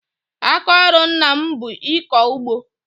Aka ọrụ ńnà m bụ ịkọ ụgbọ.